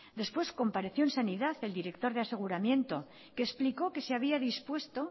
después compareció en sanidad el directo de aseguramiento que explicó que se había dispuesto